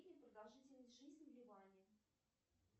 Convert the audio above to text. продолжительность жизни в ливане